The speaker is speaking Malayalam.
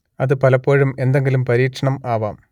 അത് പലപ്പോഴും എന്തെങ്കിലും പരീക്ഷണം ആവാം